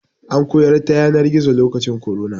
An koyar ta yanar gizo lokacin korona.